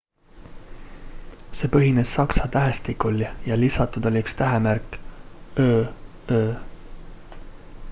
see põhines saksa tähestikul ja lisatud oli üks tähemärk õ/õ